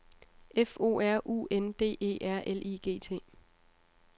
F O R U N D E R L I G T